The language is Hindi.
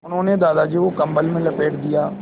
उन्होंने दादाजी को कम्बल में लपेट दिया